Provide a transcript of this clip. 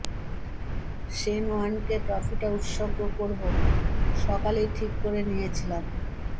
Shane ওয়ার্নকে ট্রফিটা উৎসর্গ করব সকালেই ঠিক করে নিয়েছিলাম